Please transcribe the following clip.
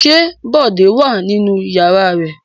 Ṣé Bọ̀dé wà nínú ìyàrá rẹ̀?